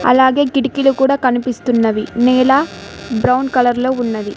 అలాగే కిటికీలు కూడా కనిపిస్తున్నది నేల బ్రౌన్ కలర్ లో ఉన్నది.